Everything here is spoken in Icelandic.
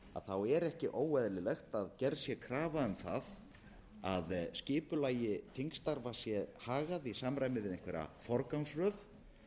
kvöld er ekki óeðlilegt að gerð sé krafa um það að skipulagi þingstarfa sé hagað í samræmi við einhverja forgangsröð